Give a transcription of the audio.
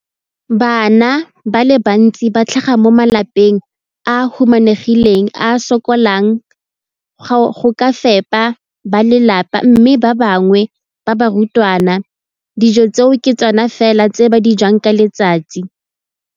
Bana ba le bantsi ba tlhaga mo malapeng a a humanegileng a a sokolang go ka fepa ba lelapa mme ba bangwe ba barutwana, dijo tseo ke tsona fela tse ba di jang ka letsatsi.